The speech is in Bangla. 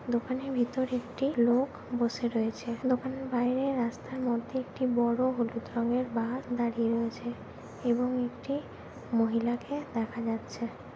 দোকানের ভিতর একটি লোক বসে রয়েছে দোকানের বাইরে রাস্তার মধ্যে একটি বড়ো হলুদ রঙের বাস দাঁড়িয়ে রয়েছে এবং একটি মহিলাকে দেখা যাচ্ছে।